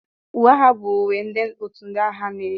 Uwe agha bụ uwe ndị otu ndị agha na-eyi